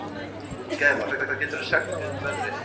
Gæfa, hvað geturðu sagt mér um veðrið?